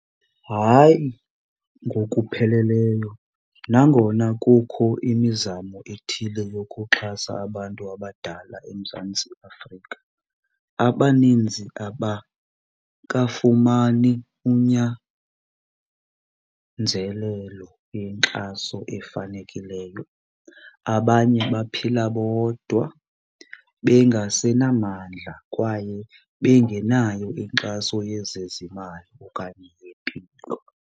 Hayi ngokupheleleyo, nangona kukho imizamo ethile yokuxhasa abantu abadala eMzantsi Afrika abaninzi abakafumani unyanzelelo yenkxaso efanelekileyo. Abanye baphila bodwa bengasenamandla kwaye bengenayo inkxaso yezezimali okanye yempilo.